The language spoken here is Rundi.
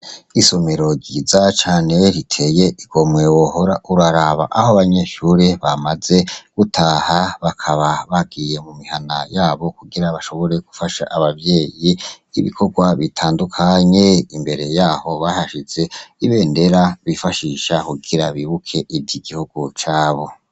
Isomero ryiza cane riteye igomwe, wohora uraraba! Aho abanyeshure bamaze gutaha bakaba bagiye mu mihana yabo kugira bashobore gufasha abavyeyi ibikorwa bitandukanye. Imbere yaho bahashize ibendera bifashisha kugira bibuke ivy'igihugu cabo.